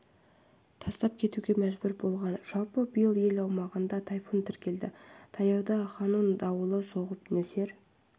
тастап кетуге мәжбүр болған жалпы биыл ел аумағында тайфун тіркелді таяуда ханун дауылы соғып нөсер